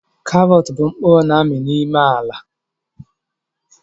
Karọt bụ mkpụrụ na-ami n'ime ala